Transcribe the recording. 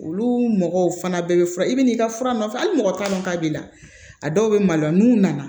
Olu mɔgɔw fana bɛ fura i bɛ n'i ka fura nɔfɛ hali mɔgɔ t'a dɔn k'a b'i la a dɔw bɛ maloya n'u nana